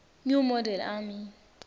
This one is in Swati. new model army